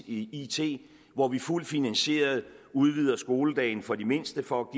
i ny it hvor vi fuldt finansieret udvider skoledagen for de mindste for at